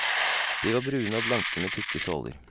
De var brune og blanke med tykke såler.